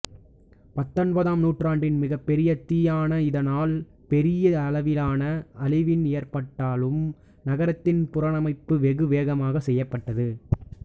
பத்தொன்பதாம் நூற்றாண்டின் மிகப்பெரிய தீயான இதனால் பெரிய அளவில் அழிவு ஏற்பட்டாலும் நகரத்தின் புனரமைப்பு வெகு வேகமாக செய்யப்பட்டது